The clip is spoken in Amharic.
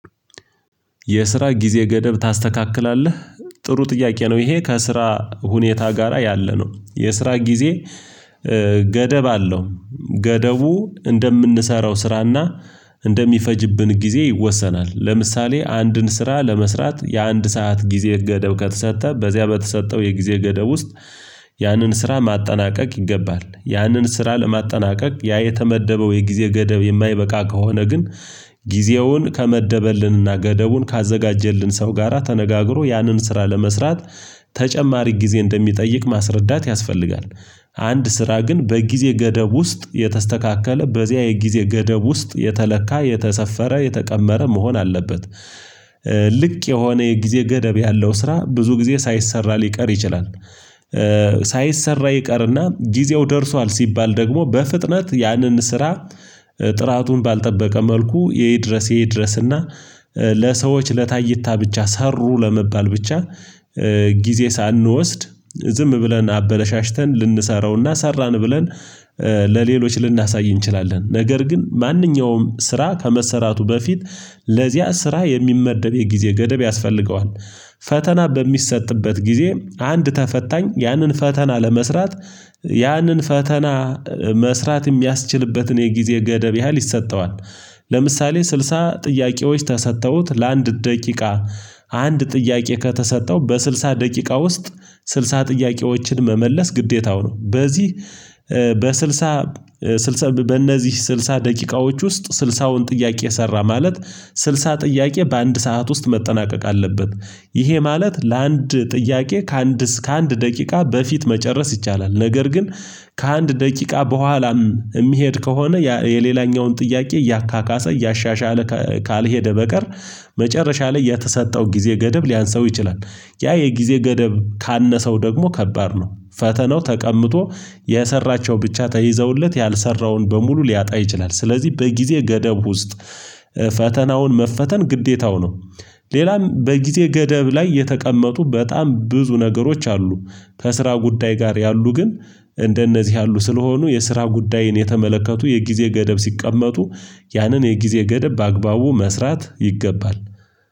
የስራ ጊዜ ገደብ ታስተካክላለህ? ጥሩ ጥያቄ ነው ይሄ፤ ከስራ ሁኔታ ጋራ ያለ ነው። የስራ ጊዜ ገደብ አለው። ገደቡ እንደምንሰራው ስራና እንደሚፈጅብን ጊዜ ይወሰናል። ለምሳሌ አንድን ስራ ለመስራት የአንድ ሰዓት ጊዜ ገደብ ከተሰጠ፤ በዚያ በተሰጠው የጊዜ ገደብ ውስጥ ያንን ስራ ማጠናቀቅ ይገባል። ያንን ስራ ለማጠናቀቅ ያ የተመደበው የጊዜ ገደብ የማይበቃ ከሆነ ግን ጊዜውን ከመደበልንና ገደቡን ካዘጋጀልን ሰው ጋራ ተነጋግሮ ያንን ስራ ለመስራት ተጨማሪ ጊዜ እንደሚጠይቅ ማስረዳት ያስፈልጋል። አንድ ስራ ግን በጊዜ ገደብ ውስጥ የተስተካከለ፣ በዚያ የጊዜ ገደብ ውስጥ የተለካ፣ የተሰፈረ፣ የተቀመረ መሆን አለበት። ልክ የሆነ የጊዜ ገደብ ያለው ስራ ብዙ ጊዜ ሳይሰራ ሊቀር ይችላል። ሳይሰራ ይቀርና ጊዜው ደርሷል ሲባል ደግሞ በፍጥነት ያንን ስራ ጥራቱን ባልጠበቀ መልኩ ይድረስ ይድረስና ለሰዎች ለታይታ ብቻ ሰሩ ለመባል ብቻ ጊዜ ሳንወስድ ዝም ብለን አበለሻሽተን ልንሰራውና ሰራን ብለን ለሌሎች ልናሳይ እንችላለን። ነገር ግን ማንኛውም ስራ ከመሰራቱ በፊት ለዚያ ስራ የሚመደብ የጊዜ ገደብ ያስፈልገዋል። ፈተና በሚሰጥበት ጊዜ፤ አንድ ተፈታኝ ያንን ፈተና ለመስራት ያንን ፈተና መስራት የሚያስችልበትን የጊዜ ገደብ ያህል ይሰጠዋል። ለምሳሌ ስልሳ ጥያቄዎች ተሰጥተውት ለአንድ ደቂቃ አንድ ጥያቄ ከተሰጠው፤ በስልሳ ደቂቃ ውስጥ ስልሳ ጥያቄዎችን መመለስ ግዴታው ነው። በዚህ በስልሳ በእነዚህ ስልሳ ደቂቃዎች ውስጥ ስልሳውን ጥያቄ ሰራ ማለት፤ ስልሳ ጥያቄ በአንድ ሰዓት ውስጥ መጠናቀቅ አለብት። ይሄ ማለት ለአንድ ጥያቄ ከአንድ እስከ አንድ ደቂቃ በፊት መጨረስ ይቻላል። ነገር ግን ከአንድ ደቂቃ በኋላም የሚሄድ ከሆነ የሌላኛውን ጥያቄ እያካካሰ፣ እያሻሻለ ካልሄደ በቀር መጨረሻ ላይ የተሰጠው ጊዜ ገደብ ሊያንስው ይችላል። ያ የጊዜ ገደብ ካነሰው ደግሞ ከባድ ነው። ፈተናው ተቀምጦ የሰራቸው ብቻ ተይዘውለት ያልሰራውን በሙሉ ሊያጣ ይችላል። ስለዚህ በጊዜ ገደብ ውስጥ ፈተናውን መፈተን ግዴታው ነው። ሌላም በጊዜ ገደብ ላይ የተቀመጡ በጣም ብዙ ነገሮች አሉ። ከስራ ጉዳይ ጋር ያሉ ግን እንደነዚህ ያሉ ስለሆኑ የስራ ጉዳይን የተመለከቱ የጊዜ ገደብ ሲቀመጡ ያንን የጊዜ ገደብ በአግባቡ መስራት ይገባል።